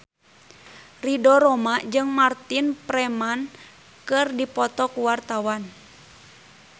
Ridho Roma jeung Martin Freeman keur dipoto ku wartawan